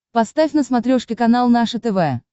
поставь на смотрешке канал наше тв